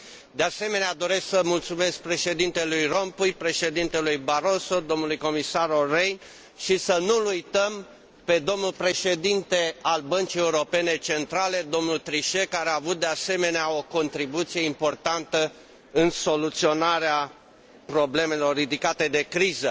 De asemenea, doresc să mulțumesc președintelui Rompuy, președintelui Barroso, domnului comisar Ohli Rehn și să nu l uităm pe domnul președinte al Bancii Europene Centrale, domnul Trichet, care a avut, de asemenea, o contribuție importantă în soluționarea problemelor ridicate de criză.